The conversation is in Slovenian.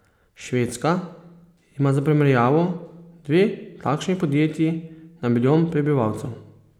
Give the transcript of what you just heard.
Švedska ima za primerjavo dve takšni podjetji na milijon prebivalcev.